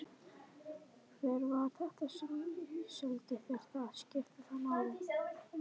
Hver var þetta sem seldi þér það? Skiptir það máli?